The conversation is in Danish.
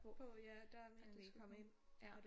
På ja der det meningen de skulle komme ind og det